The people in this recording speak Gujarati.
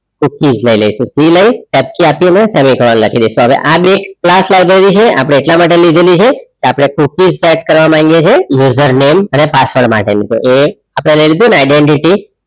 લઈ લાઈસુ લઈ કેપચા આપી ને ફરી એક વાર લખી ડાઈસુ હવે આ ગેટ ક્લાસ અપડે એટલા માટે લીધલી છે તો અપડે set કરવા માંગીએ છે username અને password માટે ની છે આ અપડે લઈ લીધી ને identity